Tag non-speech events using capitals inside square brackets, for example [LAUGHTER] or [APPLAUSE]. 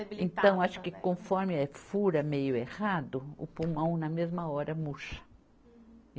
[UNINTELLIGIBLE] Então, acho que conforme é fura meio errado, o pulmão na mesma hora murcha.